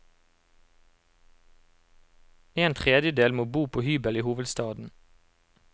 En tredjedel må bo på hybel i hovedstaden.